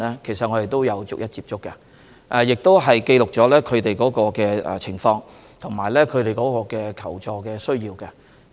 其實我們有逐一接觸該 2,500 多名香港人，亦記錄了他們的情況及求助需要。